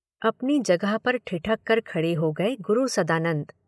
अपनी जगह पर ठिठक कर खड़े हो गए गुरु सदानंद।